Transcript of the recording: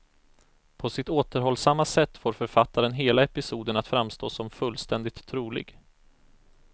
På sitt återhållsamma sätt får författaren hela episoden att framstå som fullständigt trolig.